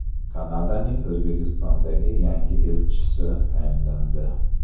Kanadaning O‘zbekistondagi yangi elchisi tayinlandi.